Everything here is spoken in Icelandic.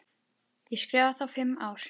Ég skrifa þá fimm ár.